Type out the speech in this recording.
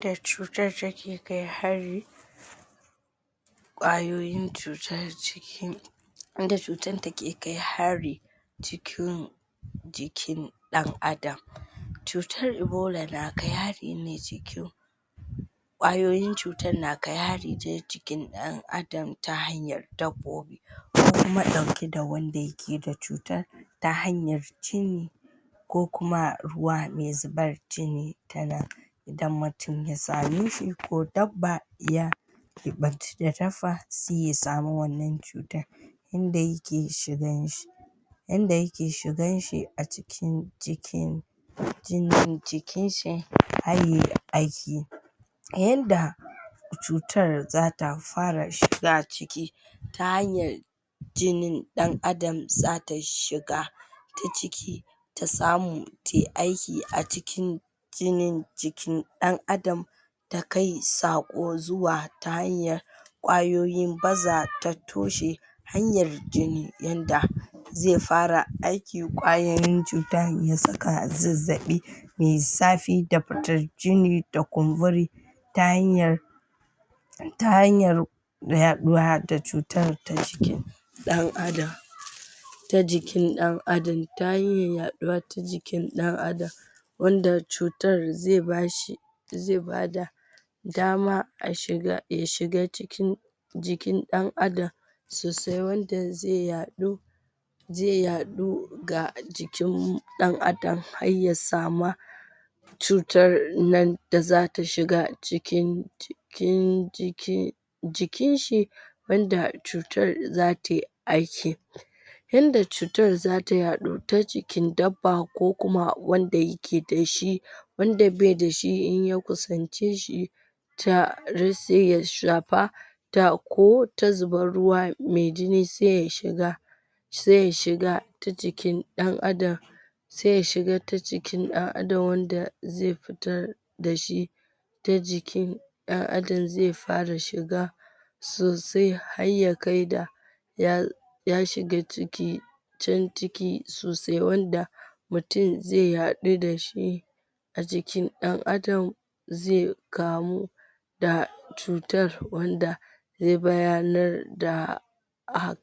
Dacutar take kai hari, Kwayoyin cutar cikin - yadda cutar take kai hari cikin jikin dan Adam Cutar Ebola na kai hari ne cikin kwayoyin cutar na kai hari ne cikin dan Adam ta hanyar kofofin ko kuma dauke da wanda yakeda cutar ta hanyar jini ko kuma ruwa me zubar jini tanan Idan mutum yasa nishi ko dabba ya sai ya samu wannan cutar Inda yake shiganshi Acikin jikin jinin jikinshi, har yay aiki yanda cutar zata fara shiga ciki ta hanyar jini dan Adam zata shiga ta ciki ta samu tai aiki acikin jinin jikin dan Adam ta kai sako zuwa ta hanyar kwayoyin baza ta toshe jini yanda zai fara aiki kwayoyin cutan ya saka zazzabi Mai zafi da fitar jini da kumburi hanyar yaduwa da cutar ta ciki dan Adam ta jikin dan Adam ta hanyar yaduwa ta jikin dan Adam wanda cutar zai bashi zai bada damaya shiga cikin dan Adam sosai wanda zai yadu zai yadu ga jikin dan Adam har ya samu cutar nan da zata shiga cikin cikin jikinshi wada cutar zatay aiki yanda cutar zata yadu ta jikin dabba ko kuma wanda yake da shi wanda bai da shi in ya kusance shi har sai ya shafa ko ta zubar ruwa, mai jini sai ya shiga sai ya shiga ta jikin dan Adam. sai ya shiga ta jikin dan Adam wanda zai fitar da shi jikin dan adam zai fara shiga sai har ya kai ga ya shiga ciki can ciki sosaiwanda mutum zai yadu dashi a jikin dan Adam zai kamu da cutar wanda zai bayanar da